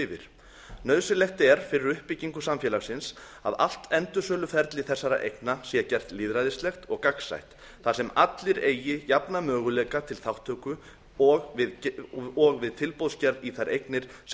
yfir nauðsynlegt er fyrir uppbyggingu samfélagsins að allt endursöluferli þessara eigna sé gert lýðræðislegt og gagnsætt þar sem allir eigi jafna möguleika til þátttöku og við tilboðsgerð í þær eignir sem